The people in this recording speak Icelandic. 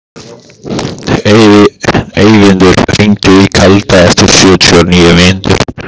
Eyvindur, hringdu í Kalda eftir sjötíu og níu mínútur.